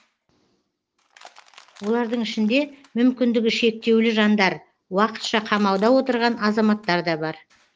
олардың ішінде мүмкіндігі шектеулі жандар уақытша қамауда отырған азаматтар да бар